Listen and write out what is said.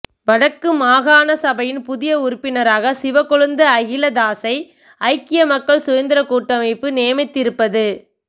வடக்கு மாகாண சபையின் புதிய உறுப்பினராக சிவக்கொழுந்து அகிலதாசை ஐக்கிய மக்கள் சுதந்திரக் கூட்டமைப்பு நியமித்திருப்பது